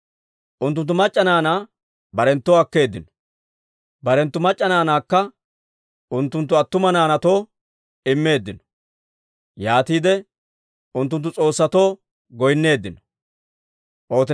Unttunttu mac'c'a naanaa barenttoo akkeeddino; barenttu mac'c'a naanaakka unttunttu attuma naanaatoo immeeddino. Yaatiide unttunttu s'oossatoo goynneeddino.